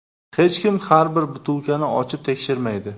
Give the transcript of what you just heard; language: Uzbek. Hech kim har bir butilkani ochib tekshirmaydi.